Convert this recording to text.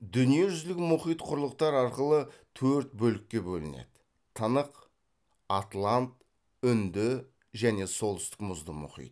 дүниежүзілік мұхит құрлықтар арқылы төрт бөлікке бөлінеді тынық атлант үнді және солтүстік мұзды мұхит